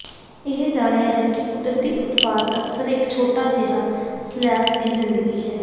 ਇਹ ਜਾਣਿਆ ਹੈ ਕਿ ਕੁਦਰਤੀ ਉਤਪਾਦ ਅਕਸਰ ਇੱਕ ਛੋਟਾ ਸ਼ੈਲਫ ਦੀ ਜ਼ਿੰਦਗੀ ਹੈ ਹੈ